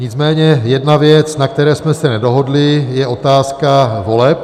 Nicméně jedna věc, na které jsme se nedohodli, je otázka voleb.